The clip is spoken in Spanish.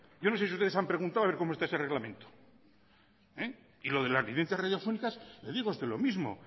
yo no sé si ustedes han preguntado a ver cómo está ese reglamento y lo de las licencias radiofónicas le digo a usted lo mismo